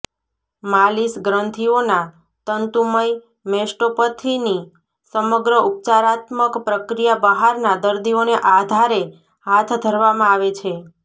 માલિશ ગ્રંથીઓના તંતુમય મેસ્ટોપથીની સમગ્ર ઉપચારાત્મક પ્રક્રિયા બહારના દર્દીઓને આધારે હાથ ધરવામાં આવે છે